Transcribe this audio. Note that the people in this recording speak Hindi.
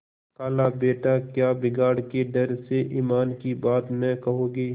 खालाबेटा क्या बिगाड़ के डर से ईमान की बात न कहोगे